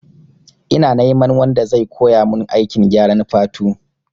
Ina neman wanda zai koya mun aikin gyaran fatu